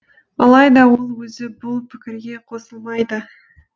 алайда ол өзі бұл пікірге қосылмайды